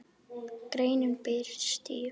Greinin birtist í